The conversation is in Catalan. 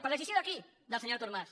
per decisió de qui del senyor artur mas